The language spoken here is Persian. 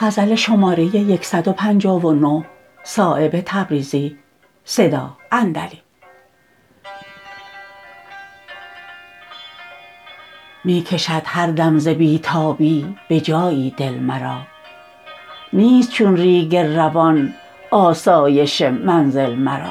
می کشد هر دم ز بی تابی به جایی دل مرا نیست چون ریگ روان آسایش منزل مرا